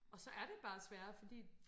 Og så er det bare sværere fordi